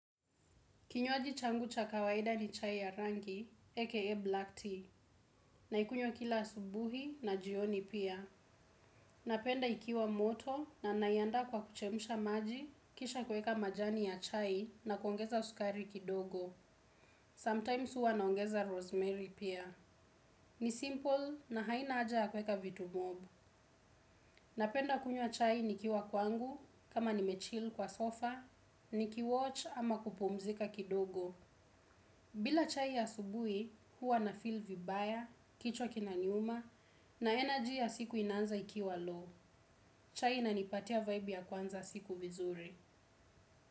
Kinywaji changu cha kawaida ni chai ya rangi, aka black tea, naikunyws kila asubuhi na jioni pia. Napenda ikiwa moto na naiandaa kwa kuchemsha maji, kisha kuweka majani ya chai na kuongeza sukari kidogo. Sometimes huwa naongeza rosemary pia. Ni simple na haina haja ya kuweka vitu mob. Napenda kunywa chai nikiwa kwangu, kama nimechill kwa sofa, niki watch ama kupumzika kidogo. Bila chai ya asubuhi huwa na feel vibaya, kichwa kinaniuma na energy ya siku inaanza ikiwa low. Chai nanipatia vibe ya kwanza siku vizuri.